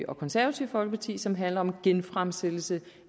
og konservative folkeparti som handler om en genfremsættelse